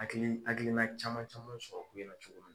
Hakili hakilina caman caman sɔrɔ ko in na cogo min